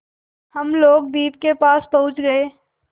हम लोग द्वीप के पास पहुँच गए